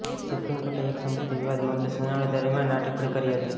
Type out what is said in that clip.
supreme કોર્ટે એક સંપત્તિ વિવાદ મામલે સુનાવણી દરમિયાન આ ટિપ્પણી કરી હતી